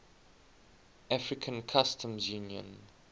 african customs union